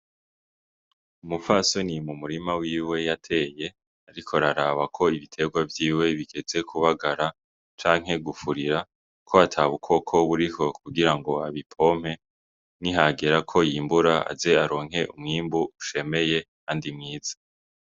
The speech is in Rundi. Umupfasoni mu murima wiwe yateye, ariko araraba ko ibitegwa vyiwe bigeze kubagara canke gufurira, ko ata bukoko buriho kugira ngo abipompe, nihagera ko yimbura aze aronke umwimbu ushemeye kandi mwiza.